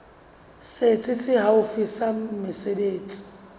setsi se haufi sa mesebetsi